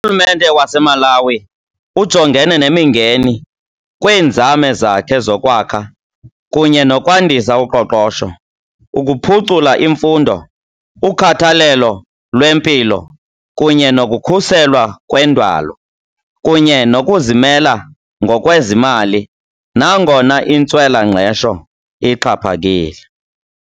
Urhulumente waseMalawi ujongene nemingeni kwiinzame zakhe zokwakha kunye nokwandisa uqoqosho, ukuphucula imfundo, ukhathalelo lwempilo, kunye nokukhuselwa kwendalo, kunye nokuzimela ngokwezimali nangona intswela-ngqesho ixhaphakile.